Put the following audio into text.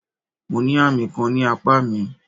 Mo ní àmì kan ní apá mi.